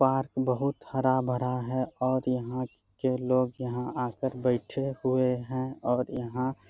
park बहुत हरा-भरा है और यहाँ के लोग यहाँ आकर बइठे हुए है और यहाँ --